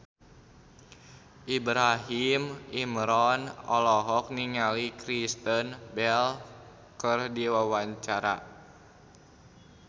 Ibrahim Imran olohok ningali Kristen Bell keur diwawancara